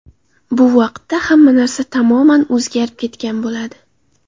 Bu vaqtda hamma narsa tamoman o‘zgarib ketgan bo‘ladi.